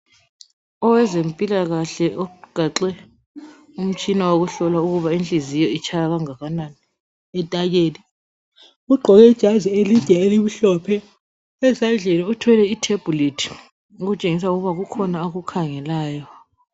Owezempilakahle ogaxe umtshina wokuhlola ukuba inhliziyo itshaya okungakanani ugqoke ijazi elide elimhlophe ezandleni uthwele itablet okutshengisa ukuba kukhona akukhangelayo.